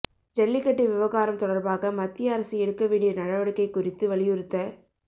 ஜல்லிக்கட்டு விவகாரம் தொடர்பாக மத்திய அரசு எடுக்க வேண்டிய நடவடிக்கை குறித்து வலியுறுத்த